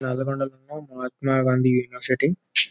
నల్లగొండ లో మహాత్మగాంధీ యూనివర్సిటీ .